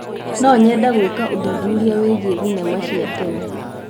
No nyende gwĩka ũthuthuria wĩgiĩ thenema cia tene.